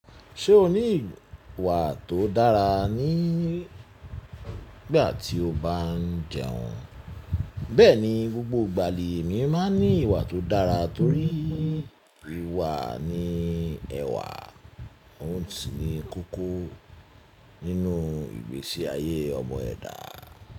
Ṣé o ní ìwà tó dára nígbà tí o bá ń jẹun? Bẹ́ẹ̀ni, gbogbo ìgbà lèmi máa ń ní ìwà tó dára torí ìwà ni ẹwà. Oun sì ní kókó nínú ìgbésí ayé ọmọ ẹ̀dá.